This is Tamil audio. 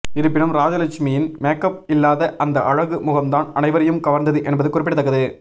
இருப்பினும் ராஜலட்சுமியின் மேக்கப் இல்லாத அந்த அழகு முகம் தான் அனைவரையும் கவர்ந்தது என்பது குறிப்பிடத்தக்கது